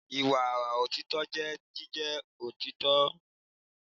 Ìwà òtítọ́ jẹ́ jíjẹ́ olóòótọ́.